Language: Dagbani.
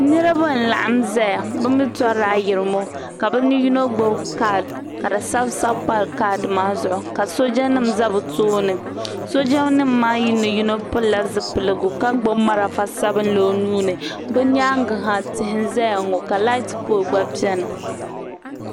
niriba n-laɣim zaya bɛ mi tɔrila ayirimo ka bɛ yino gbubi kaadi ka di sabisabi m-pa kaadi maa zuɣu ka soojanima za bɛ tooni soojanima maa ni yino pili zipiligu ka gbubi malfa sabilinli o nuu ni bɛ nyaaŋga ha tihi n-zaya ŋɔ ka laati pooli gba beni